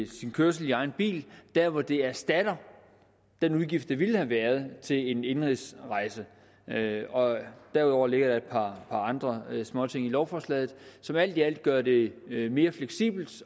sin kørsel i egen bil der hvor det erstatter den udgift der ville have været til en indenrigsrejse og derudover ligger der et par andre småting i lovforslaget som alt i alt gør det mere fleksibelt